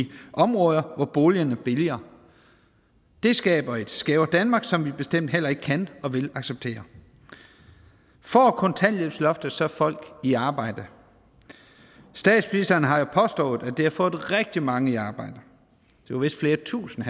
områder hvor boligerne er billigere det skaber et skævere danmark som vi bestemt heller ikke kan og vil acceptere får kontanthjælpsloftet så folk i arbejde statsministeren har jo påstået at det har fået rigtig mange i arbejde det var vist flere tusinde